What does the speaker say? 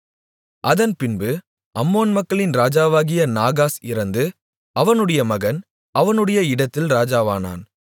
அதன்பின்பு அம்மோன் மக்களின் ராஜாவாகிய நாகாஸ் இறந்து அவனுடைய மகன் அவனுடைய இடத்தில் ராஜாவானான்